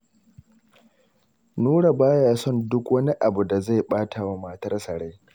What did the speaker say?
Nura ba ya son duk wani abu da zai ɓata wa matsarsa rai.